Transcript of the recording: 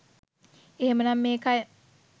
එහෙමනම් මේ කය